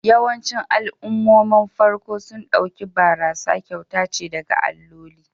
Yawancin al'ummomin farko sun ɗauki barasa kyauta ce daga alloli